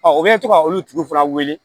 u bɛ to ka olu tigiw fana wele